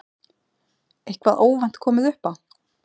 Eitthvað óvænt komið upp á?